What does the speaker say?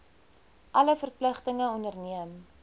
alle verpligtinge onderneem